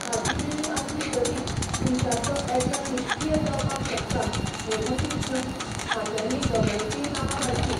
खातीं वेगळीं आसलीं तरीय, तुमच्यांतलो एकलो निश्क्रीय जावपाक शकता हें मतींत घेवन खात्यांनी दोगांयचींय नांवां घालचीं.